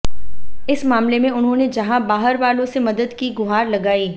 इस मामले में उन्होंने जहां बाहर वालों से मदद की गुहार लगाई